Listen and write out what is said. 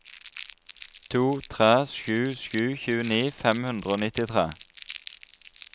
to tre sju sju tjueni fem hundre og nittitre